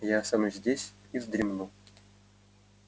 я останусь здесь и вздремну